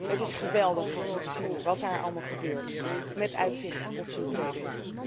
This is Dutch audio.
Het is geweldig om te zien wat daar allemaal gebeurt met uitzicht op toetreding.